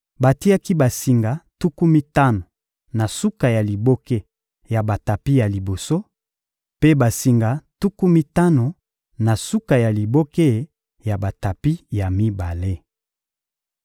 Batiaki basinga tuku mitano na suka ya liboke ya batapi ya liboso, mpe basinga tuku mitano na suka ya liboke ya batapi ya mibale.